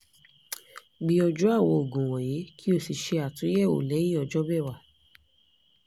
gbìyànjú àwọn òògùn wọ̀nyí kí o sì ṣe àtúnyẹ̀wò lẹ́yìn ọjọ́ mẹ́wàá